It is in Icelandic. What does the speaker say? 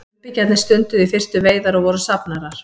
frumbyggjarnir stunduðu í fyrstu veiðar og voru safnarar